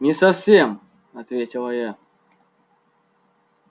не совсем ответила я